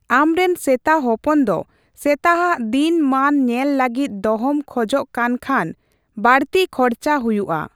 ᱟᱢᱨᱮᱱ ᱥᱮᱛᱟ ᱦᱚᱯᱚᱱ ᱫᱚ ᱥᱮᱛᱟᱼᱟᱜ ᱫᱤᱱ ᱢᱟᱱ ᱧᱮᱞ ᱞᱟᱹᱜᱤᱫ ᱫᱚᱦᱚᱢ ᱠᱷᱚᱡ ᱠᱟᱱ ᱠᱷᱟᱱ ᱵᱟᱹᱲᱛᱤ ᱠᱷᱚᱨᱪᱟ ᱦᱩᱭᱩᱜᱼᱟ ᱾